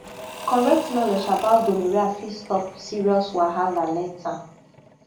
correct knowledge about gonorrhea fit stop serious wahala later